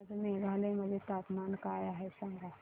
आज मेघालय मध्ये तापमान काय आहे सांगा